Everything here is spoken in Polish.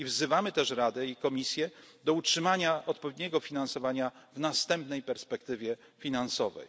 i kultury. Wzywamy też Radę i Komisję do utrzymania odpowiedniego finansowania w następnej perspektywie